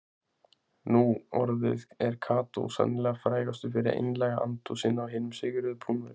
Nú orðið er Kató sennilega frægastur fyrir einlæga andúð sína á hinum sigruðu Púnverjum.